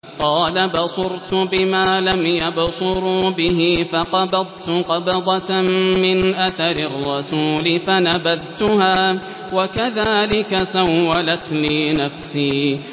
قَالَ بَصُرْتُ بِمَا لَمْ يَبْصُرُوا بِهِ فَقَبَضْتُ قَبْضَةً مِّنْ أَثَرِ الرَّسُولِ فَنَبَذْتُهَا وَكَذَٰلِكَ سَوَّلَتْ لِي نَفْسِي